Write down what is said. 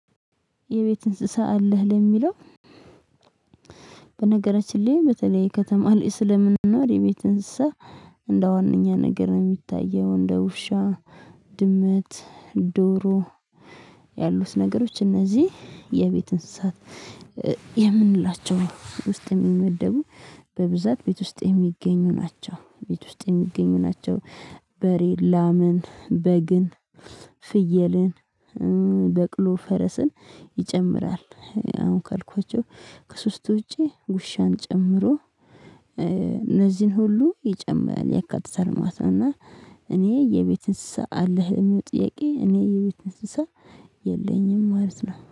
የቤት እንስሳ አለህ ለሚለው? በነገራችን ላይ በተለይ ከተማ ላይ ሰለምንኖር የቤት እንስሳ እንደዋነኛ ነገር ነው የሚታየው እንደ ውሻ ድመት ዶሮ ያሉት ነገሮች እነዚህ የቤት እንስሳት የምንላቸው ውስጥ የሚመደቡ በብዛት ቤት ውስጥ የሚገኙ ናቸው ቤት ውስጥ የሚገኙ ናቸው። በሬ ላምን በግን ፍየልን በቅሎ ፈረስን ይጨምራል። አሁን ካልኳቸው ከሶስቱ ውጪ ውሻን ጨምሮ እነዚህን ሁሉ ይጨምራል ያካትታል ማለት እና። እኔ የቤት እንስሳ አለህ ለሚለው ጥያቄ እኔ የቤት እንስሳ የለኝም ማለት ነው